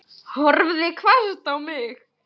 Horfði hvasst á mig.